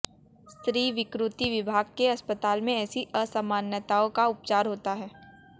स्त्रीविकृति विभाग के अस्पताल में ऐसी असामान्यताओं का उपचार होता है